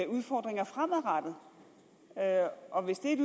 udfordringer fremadrettet og hvis det